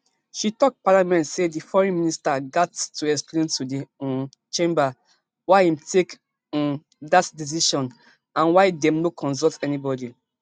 she tok parliament say di foreign minister gat to explain to di um chamber why im take um dat decision and why dem no consult anybody